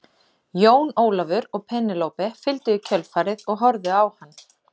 Jón Ólafur og Penélope fylgdu í kjölfarið og horfðu á hann.